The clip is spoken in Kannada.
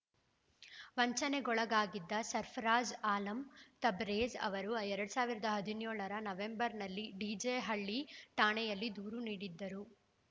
ವಂಚನೆಗೊಳಗಾಗಿದ್ದ ಸರ್ಫರಾಜ್‌ ಆಲಂ ತಬರೇಜ್‌ ಅವರು ಎರಡ್ ಸಾವಿರದ ಹದಿನ್ಯೋಳರ ನವೆಂಬರ್‌ನಲ್ಲಿ ಡಿಜೆಹಳ್ಳಿ ಠಾಣೆಯಲ್ಲಿ ದೂರು ನೀಡಿದ್ದರು